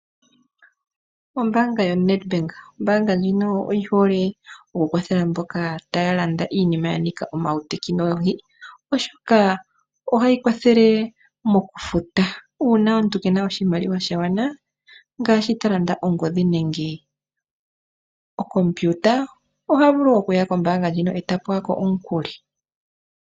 Ombaanga yoNedbank. Ombaanga ndjino oyi hole oku kwathela aantu mboka haya landa iinima yanika uutekinolohi oshoka ohayi kwathele mokufuta uuna omuntu kena oshimaliwa shagwana ngaashi ta landa ongodhi nenge okompiuta oha vulu okuya kombaanga e ta pewa ko omukuli.